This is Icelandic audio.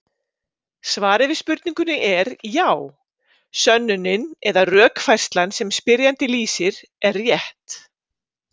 Svarið við spurningunni er já: Sönnunin eða rökfærslan sem spyrjandi lýsir er rétt.